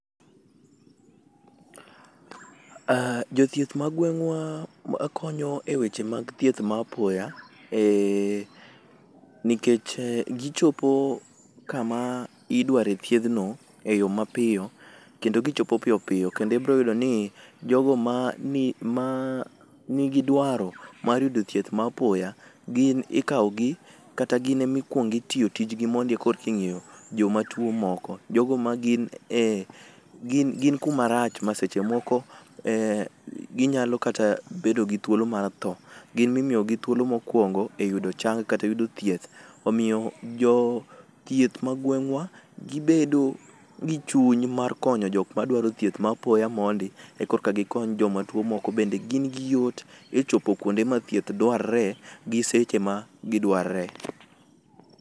Jothieth ma gweng'wa makonyo e weche mag thieth ma apoya nikech gichopo kama idware thiedhno eyo mapiyo kendo gichopo piyo piyo kendo ibro yudoni jogo ma ,nigi dwaro mar yudo thieth ma apoya gin ikawogi kata gin emakwongo itiyo tijgi mondi koreka ing'iyo jomatuwo moko. Jogo ma gin e, gin kumarach ma seche moko eeh, ginyalo kata bet gi thuolo mar tho. Gin mimiyogi thuolo mokwongo, omiyo jothieth ma gweng'wa gibedo gi chuny mar konyo jok ma dwaro thieth mar apoya mondi e korka gikony joma tuwo moko bende gin gi yot e chopo kwonde ma thieth dwarre gi seche ma gi dwarre.